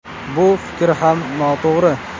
Bu fikr ham noto‘g‘ri.